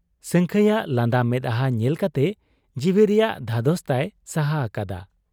ᱥᱟᱹᱝᱠᱷᱟᱹᱭᱟᱜ ᱞᱟᱸᱫᱟ ᱢᱮᱫᱦᱟᱸ ᱧᱮᱞ ᱠᱟᱛᱮ ᱡᱤᱣᱤ ᱨᱮᱭᱟᱜ ᱫᱷᱟᱫᱚᱥ ᱛᱟᱭ ᱥᱟᱦᱟ ᱟᱠᱟᱫᱟ ᱾